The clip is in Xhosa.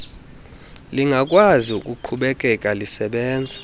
lingakwazi ukuqhubekeka lisebenza